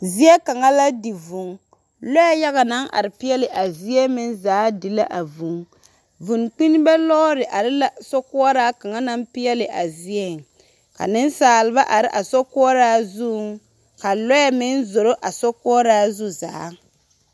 Zie kaŋa la di vũũ. Lͻԑ yaga naŋ are peԑle a zie meŋ zaa di la a vũũ. Vũũ kpinime lͻͻre are la sokoͻraa kaŋa naŋ peԑle a zieŋ. Ka nensaaleba are a sokoͻraa zuŋ ka lͻԑ meŋ zoro a sokoͻraa zu zaa.